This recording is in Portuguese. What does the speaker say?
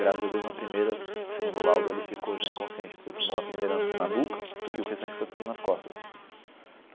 Graças a Deus, na primeira, segundo o laudo, ele ficou já inconsciente, porque tomou a primeira na nuca e o restante foi tudo nas costas.